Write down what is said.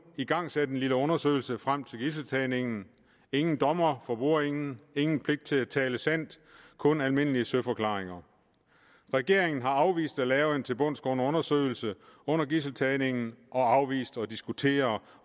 igangsat en lille undersøgelse frem til gidseltagningen ingen dommer for bordenden ingen pligt til at tale sandt kun almindelige søforklaringer regeringen afviste at lave en tilbundsgående undersøgelse under gidseltagningen og afviste at diskutere